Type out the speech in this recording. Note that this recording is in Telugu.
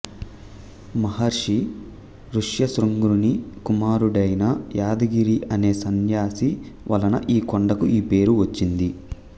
మహర్షి ఋష్యశృంగుని కుమారుడైన యాదగిరి అనే సన్యాసి వలన ఈ కొండకు ఈ పేరు వచ్చింది